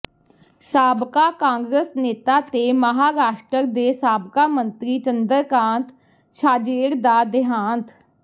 ਸਾਬਕਾ ਕਾਂਗਰਸ ਨੇਤਾ ਤੇ ਮਹਾਰਾਸ਼ਟਰ ਦੇ ਸਾਬਕਾ ਮੰਤਰੀ ਚੰਦਰਕਾਂਤ ਛਾਜੇੜ ਦਾ ਦੇਹਾਂਤ